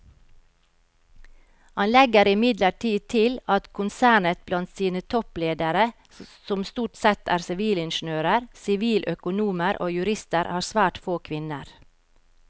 Han legger imidlertid til at konsernet blant sine toppledere som stort sette er sivilingeniører, siviløkonomer og jurister har svært få kvinner.